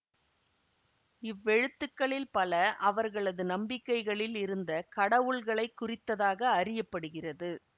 இவ் எழுத்துக்களில் பல அவர்களது நம்பிக்கைகளில் இருந்த கடவுள்களைக் குறித்ததாக அறிய படுகிறது